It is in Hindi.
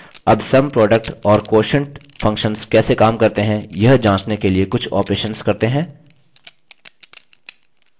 अब sum product और quotient functions कैसे sum करते हैं यह जाँचने के लिए कुछ operations करते हैं